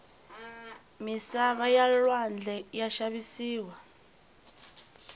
misava ya lwandle ya xavisiwa